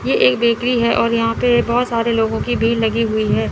ये एक बेकरी है और यहां पे बहुत सारे लोगों की भीड़ लगी हुई है।